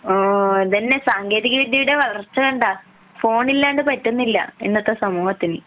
ആഹ് അതന്നെ സാങ്കേതിക വിദ്യയുടെ വളർച്ച കണ്ട ഫോണില്ലാതെ പറ്റുന്നില്ല ഇന്നത്തെ സമൂഹത്തിനു